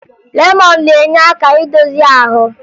Lemọn na-enye aka idozi ahụ